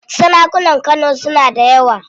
Sarakunan Kano suna da yawa.